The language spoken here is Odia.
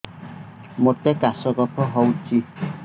ମୋତେ କାଶ କଫ ହଉଚି